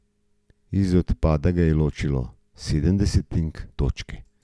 Od izpada ga je ločilo sedem desetink točke.